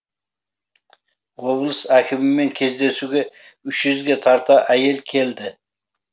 облыс әкімімен кездесуге үш жүзге тарта әйел келді